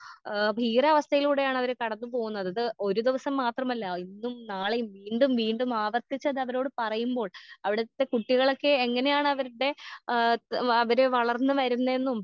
ഏ ഭീകരാവസ്ഥയിലൂടെയാണവര് കടന്നു പോകുന്നത് ഇത് ഒരു ദിവസം മാത്രമല്ല ഇന്നും നാളേം വീണ്ടും വീണ്ടും ആവർത്തിച്ചതവരോട് പറയുമ്പോൾ അവിടത്തെ കുട്ടികളെയൊക്കെ എങ്ങനെയാണവര്ടെ ആ അവര് വളർന്ന് വരുന്നേന്നും.